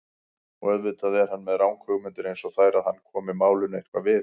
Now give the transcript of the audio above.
Og auðvitað er hann með ranghugmyndir einsog þær að hann komi málinu eitthvað við.